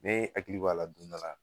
Ne hakili b'a la don dɔ la